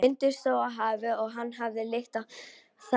Vindur stóð af hafi, og hann fann lykt af þangi.